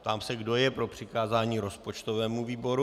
Ptám se, kdo je pro přikázání rozpočtovému výboru.